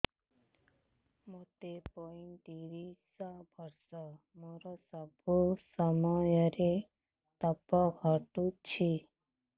ମୋତେ ପଇଂତିରିଶ ବର୍ଷ ମୋର ସବୁ ସମୟରେ ପତ ଘଟୁଛି